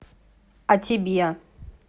а тебе